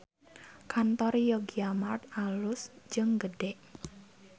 Kantor Yogyamart alus jeung gede